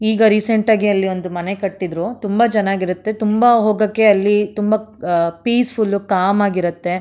ಈಗ ರೀಸೆಂಟ್ ಆಗಿ ಅಲ್ಲಿ ಒಂದು ಮನೆ ಕಟ್ಟಿದ್ರು ತುಂಬಾ ಚೆನ್ನಾಗಿರತ್ತೆ ತುಂಬಾ ಹೋಗಕ್ಕೆ ಅಲ್ಲಿ ತುಂಬಾ ಆ ಪೀಸ್ ಫುಲ್ ಕಾಮ್ ಆಗಿರುತ್ತೆ.